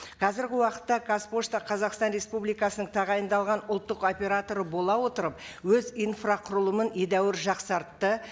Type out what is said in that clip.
қазіргі уақытта қазпошта қазақстан республикасының тағайындалған ұлттық операторы бола отырып өз инфрақұрылымын едәуір жақсартты